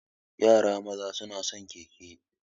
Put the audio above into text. Yara maza suna son keke.